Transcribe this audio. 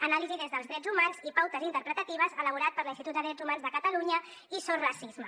anàlisi des dels drets humans i pautes interpretatives elaborat per l’institut de drets humans de catalunya i sos racisme